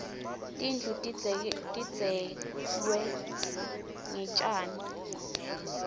tindlu tidzeklwe ngetjani